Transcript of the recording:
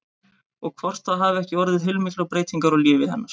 Og hvort það hafi ekki orðið heilmiklar breytingar á lífi hennar?